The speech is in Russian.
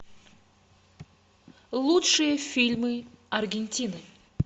лучшие фильмы аргентины